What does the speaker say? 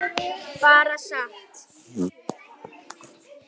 Bara sat.